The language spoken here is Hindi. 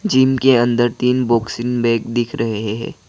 जिम के अंदर तीन बॉक्सिंग बैग दिख रहे हे है।